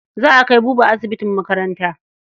Za a kai Buba asibitin makaranta.